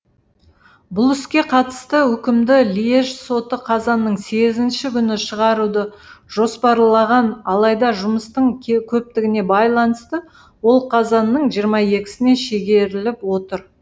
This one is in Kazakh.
бұл іске қатысты үкімді льеж соты қазанның сегізінші күні шығаруды жоспарлаған алайда жұмыстың көптігіне байланысты ол қазанның жиырма екісіне шегеріліп отыр